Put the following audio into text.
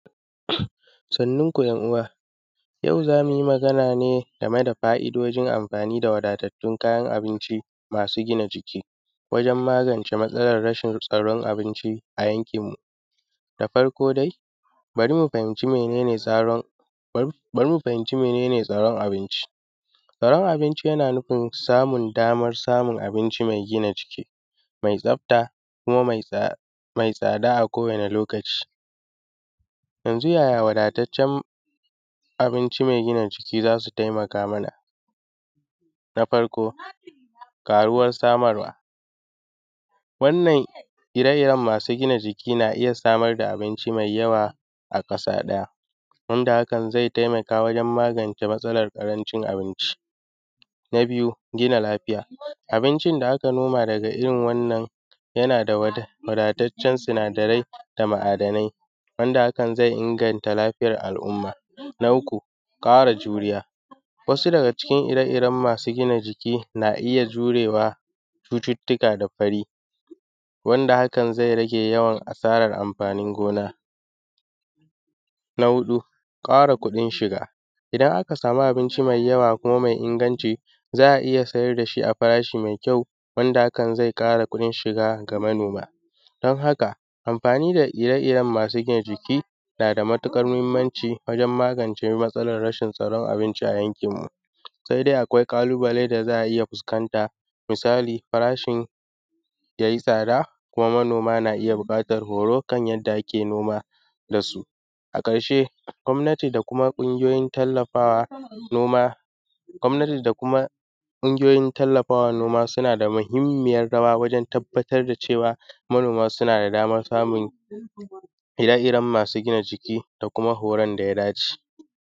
Sannunku ‘yan uwa, yau zamu yi magana ne game da fa’idodin amfani da wadatattun kayan abinci masu gina jiki, wajen magance rashin tsaron abinci a yankinmu. Da farko dai bari mu fahimce mene ne tsaron, bari mu fahimci mene tsaron abinci? Tsaron abinci yana nufin samun damar samun abinci mai gina jiki, mai tsafta kuma mai tsada a kowani lokaci. Yanzu yaya wadataccen abinci mai gina jiki za su taimaka mana? Na farko ƙaruwar samarwa, wannan ire-iren masu jina jiki na iya samar da abinci mai yawa a ƙasa ɗaya, wanda hakan ze taimaka wajen magance matsalar ƙarancin abinci. Na biyu gina lafiya, abinci da aka noma daga irin wannan yana da waɗanaa da wadataccen sinadarai da ma’adanai, wanda haka zai inganta lafiyar al’umma. Na uku kara juriya, wasu daga cikin ire-iren masu gina jiki na iya jurewa cututuka da fari, wanda hakan zai rage yawan asaran amfanin gona. Na huɗu, ƙara kuɗin shiga, idan aka samu abinci mai yawa kuma mai inganci za a iya sayar dashi a farashi mai kyau, wanda hakan zai ƙara kuɗin shiga ga manoma. Don haka amfani da ire-iren masu gina jiki nada matukar mahimmanci wajen magance matsalar rashin tsaron abinci a yankinmu, sai dai akwai ƙalubale da za a iya fuskanta. Misali farashin ya yi tsada kuma manoma na iya buƙatan horo kan yadda ake noma dasu. A ƙarshe gomnati da kuma ƙungoyoyi tallafawa noma, gomnati da kuma ƙungoyoyin tallafawa noma suna da mahimminyar rawa wajen tabbatar da cewa manoma suna da damar samun ire-iren masu gina jiki da kuma horan daya dace.